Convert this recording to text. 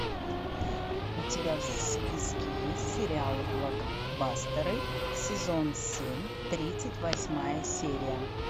у тебя в списке есть сериал блокбастеры сезон семь тридцать восьмая серия